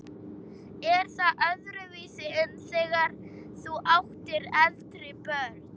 Er það öðruvísi en þegar þú áttir eldri börnin?